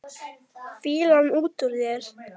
Fýlan út úr þér!